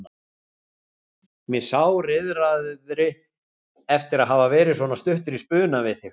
Mig sáriðraði eftir að hafa verið svona stuttur í spuna við þig.